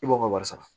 I b'o ka wari sara